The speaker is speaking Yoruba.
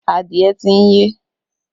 Adìẹ ti ń yé.